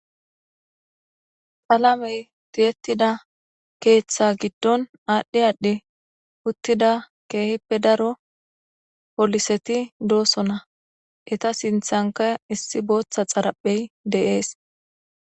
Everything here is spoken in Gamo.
Qalamey tiyetida keetha giddon aadhi aadhi uttida keehipe daro gidida pooliseti de'etees. Eeta sinthanka issi bootha xaraphey de'ees.